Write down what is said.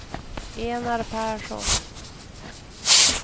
Enar Persson